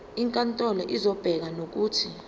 inkantolo izobeka nokuthi